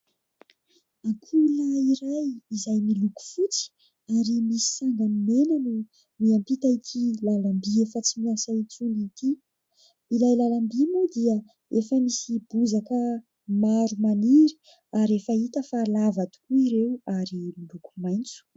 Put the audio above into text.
Ankoho lahy iray izay miloko fotsy ary misy sanga mena no miampita ity lalam-bỳ efa tsy miasa intsony ity. Ilay lalam-bỳ moa dia efa misy bozaka maro maniry ary efa hita fa lava tokoa ireo ary miloko maintso.